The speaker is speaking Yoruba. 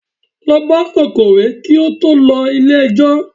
Lọ bá akọ̀wé kí ó tó lọ ilé ẹjọ́!